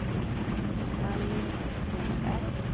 Alice Broberg